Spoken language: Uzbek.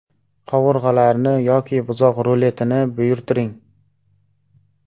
Qovurg‘alarni yoki buzoq ruletini buyurtiring.